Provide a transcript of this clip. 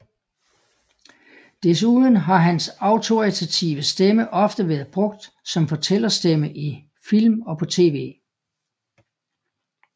Desuden har hans autoritative stemme ofte været brugt som fortællerstemme i film og på tv